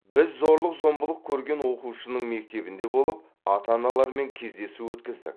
біз зорлық зомбылық көрген оқушының мектебінде болып ата аналармен кездесу өткіздік